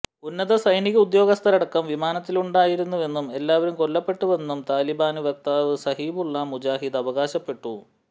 ഉന്നത സൈനിക ഉദ്യോഗസ്ഥരടക്കം വിമാനത്തിലുണ്ടായിരുന്നുവെന്നും എല്ലാവരും കൊല്ലപ്പെട്ടുവെന്നും താലിബാന് വക്താവ് സുബിഹുല്ല മുജാഹിദ് അവകാശപ്പെട്ടു